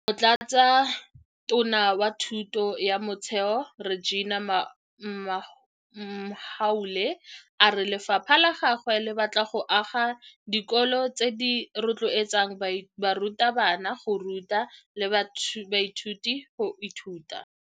Motlatsatona wa Thuto ya Motheo Reginah Mhaule a re lefapha la gagwe le batla go aga dikolo tse di tla rotloetsang barutabana go ruta le baithuti go ithuta.